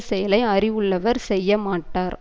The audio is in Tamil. செயலை அறிவுள்ளவர் செய்யமாட்டார்